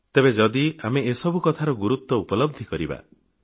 ତେବେ ପ୍ରକୃତରେ ଆମେ ଏସବୁ କଥାର ଗୁରୁତ୍ୱ ଉପଲବ୍ଧି କରିବା